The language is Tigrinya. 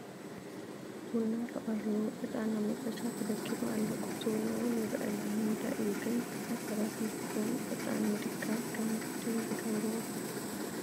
ቡና ተቐሪቡ ዕጣን ኣብ መጠሻ ተደኪሩ ኣሎ፡፡ ቁርሲ ቡና እውን ይርአ ኣሎ፡፡ ንምንታይ እዩ ግን ብዙሓት ሰባት ምስ ቡን ዕጣን ምድካር ከም ግድን ዝገብርዎ?